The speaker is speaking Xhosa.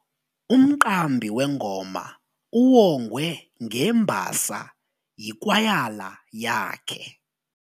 Umqambi wengoma uwongwe ngembasa yikwayala yakhe.